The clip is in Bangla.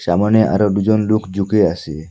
সামোনে আরও দুইজন লোক জুকে আসে ।